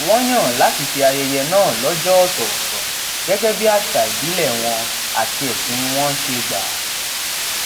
wón yàn láti ṣe ayẹyẹ náà lójó òtòòtò gégé bí àṣà ìbílè wọn àti ẹsìn wọn ṣe gbà